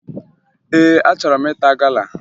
Ee, achọrọ m ịta gala